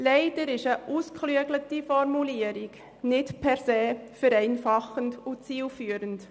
Leider ist eine ausgeklügelte Formulierung nicht per se vereinfachend und zielführend.